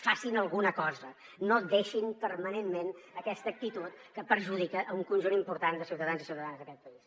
facin hi alguna cosa no deixin permanentment aquesta actitud que perjudica un conjunt important de ciutadans i ciutadanes d’aquest país